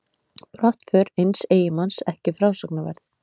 Brottför eins eiginmanns ekki frásagnarverð.